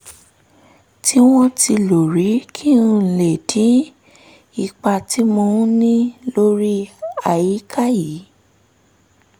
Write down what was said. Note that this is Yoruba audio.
tí wọ́n ti lò rí kí n lè dín ipa tí mò ń ní lórí àyíká kù